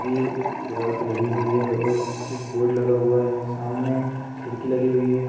दीवाल पे लगी हुई है और स्विच बोर्ड लगा हुआ है सामने खिड़की लगी हुई है।